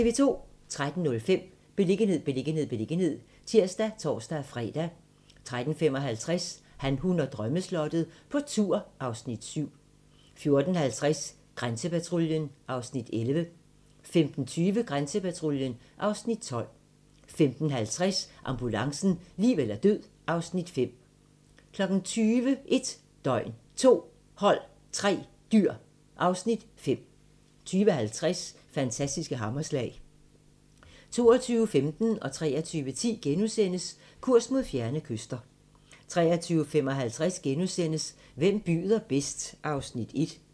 13:05: Beliggenhed, beliggenhed, beliggenhed (tir og tor-fre) 13:55: Han, hun og drømmeslottet - på tur (Afs. 7) 14:50: Grænsepatruljen (Afs. 11) 15:20: Grænsepatruljen (Afs. 12) 15:50: Ambulancen - liv eller død (Afs. 5) 20:00: 1 døgn, 2 hold, 3 dyr (Afs. 5) 20:50: Fantastiske hammerslag 22:15: Kurs mod fjerne kyster * 23:10: Kurs mod fjerne kyster * 23:55: Hvem byder bedst? (Afs. 1)*